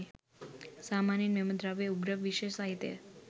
සාමාන්‍යයෙන් මෙම ද්‍රව්‍ය උග්‍ර විෂ සහිතය.